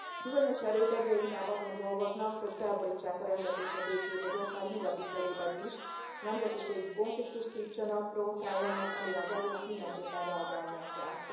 Bizonyos erők egyre inkább azon dolgoznak, hogy felborítsák a rendet és a békét az ország nyugati felében is, nemzetiségi konfliktust szítsanak, provokáljanak, amire az EU nak mindenképpen reagálnia kell.